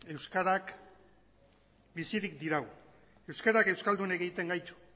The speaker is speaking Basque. euskarak bizirik dirau euskarak euskaldun egiten gaitu